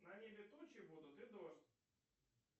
на небе тучи будут и дождь